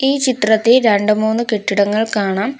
ഈ ചിത്രത്തീ രണ്ട് മൂന്ന് കെട്ടിടങ്ങൾ കാണാം.